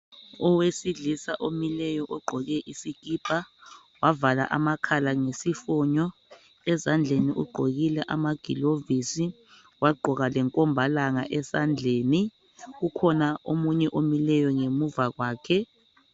Owesilisa omileyo ogqoke isikipa, wavala amakhala ngesifonyo, ezandleni ugqokile amagilovozi wagqoka lenkombalanga esandleni. Kukhona omunye omileyo ngemuva kwakhe.